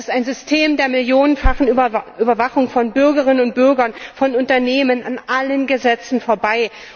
Das ist ein System der millionenfachen Überwachung von Bürgerinnen und Bürgern, von Unternehmen, an allen Gesetzen vorbei.